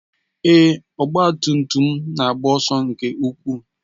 Èé, ọgba tum tum m na-agba ọsọ nke ukwuu.